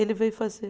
Ele veio fazer.